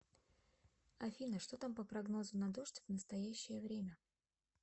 афина что там по прогнозу на дождь в настоящее время